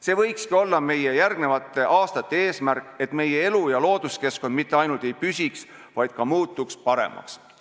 See võikski olla meie järgmiste aastate eesmärk, et meie elu- ja looduskeskkond mitte ainult ei püsiks, vaid muutuks ka paremaks.